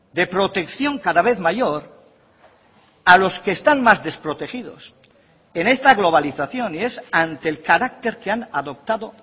de protección cada vez mayor a los que están más desprotegidos en esta globalización y es ante el carácter que han adoptado